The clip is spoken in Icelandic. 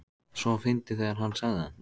svo fyndið þegar HANN sagði það!